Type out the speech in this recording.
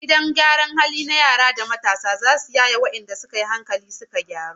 Gidan gyaran hali na yara da matasan zasu yaye wadanda suka yi hankali suka gyaru